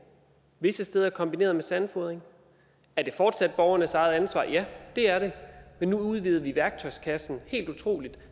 visse steder kombineret med sandfodring er det fortsat borgernes eget ansvar ja det er det men nu udvider vi værktøjskassen helt utroligt